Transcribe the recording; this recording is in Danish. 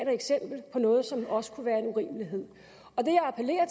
et eksempel på noget som også kunne være en urimelighed